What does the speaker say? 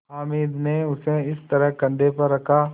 हामिद ने उसे इस तरह कंधे पर रखा